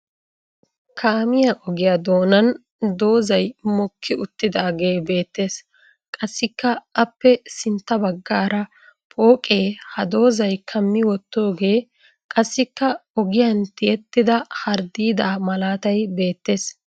Kaamiya ogiya doonan dozzay mokki uttidaagee beettes. Qassikka aappe sintta baggaara pooqee ha dozzay kammi wottooge qassikka ogiyan tiyettida harddiidaa malaatay beettes.